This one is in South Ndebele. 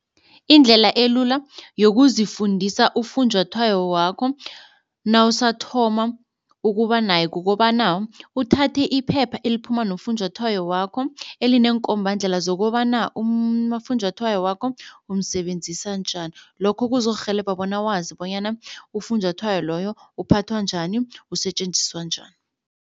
Indlela elula yokuzifundisa ufunjathwayo wakho nawusathoma ukuba naye kukobana uthathe iphepha eliphuma nofunjathwayo wakho elineenkombandlela zokobana umafunjathwayo wakho umsebenzisa njani. Lokho kuzokurhelebha bona wazi bonyana ufunjathwayo loyo ukuphathwa njani, usetjenziswa njani.